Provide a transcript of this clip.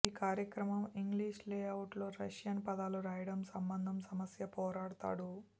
ఈ కార్యక్రమం English layout లో రష్యన్ పదాలు రాయడం సంబంధం సమస్య పోరాడతాడు